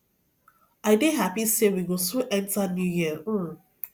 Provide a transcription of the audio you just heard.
i dey happy say we go soon enter new year um